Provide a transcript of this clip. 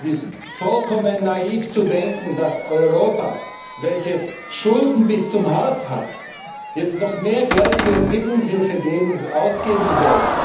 Es ist vollkommen naiv, zu denken, dass Europa, welches Schulden bis zum Hals hat, jetzt noch mehr Geld für Entwicklungshilfe ausgeben soll.